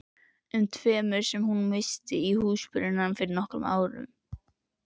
um tveimur sem hún missti í húsbruna fyrir nokkrum árum.